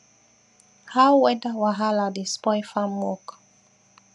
how weather wahala dey spoil farm work